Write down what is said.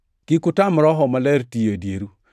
Kik utam Roho Maler tiyo e dieru,